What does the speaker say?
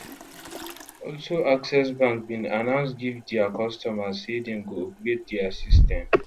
also access bank bin announce give dia customers say dem go upgrade dia system